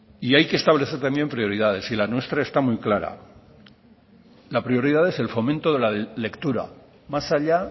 hay que establecer también prioridades y la nuestra está muy clara la prioridad es el fomento de la lectura más allá